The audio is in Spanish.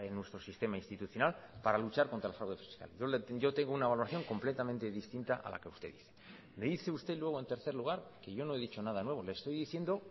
nuestro sistema institucional para luchar contra el fraude fiscal yo tengo una valoración completamente distinta a la que usted dice me dice usted luego en tercer lugar que yo no he dicho nada nuevo le estoy diciendo